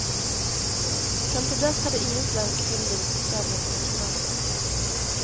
Fram till dess hade ingen svensk film blivit så känd internationellt.